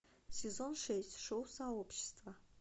сезон шесть шоу сообщество